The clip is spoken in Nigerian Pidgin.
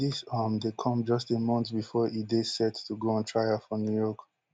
dis um dey come just a month bifor e dey set to go on trial for new york